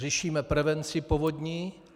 Řešíme prevenci povodní.